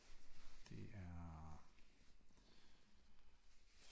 Det er